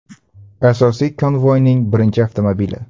Asosiy konvoyning birinchi avtomobili.